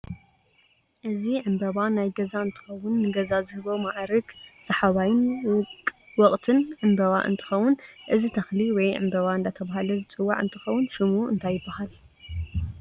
እዚ ዕንበባ ናይ ገዛ እንትከውን ንገዛ ዝህቦ ማዕርግ ሳሓባይን ውቅትን እንበባ እንትከውን እዚ ተክሊ ወይ እንበባ እዳተበሃለ ዝፅዋዕ እንትከውን ሹሙ እንታይ ይባሃል?